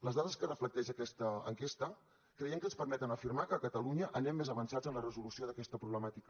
les dades que reflecteix aquesta enquesta creiem que ens permeten afirmar que a catalunya anem més avançats en la resolució d’aquesta problemàtica